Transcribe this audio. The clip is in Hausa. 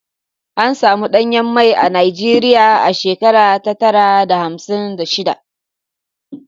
An samun danyen mai a Najeriya a shekara sha tara da hamsin da shiɗa.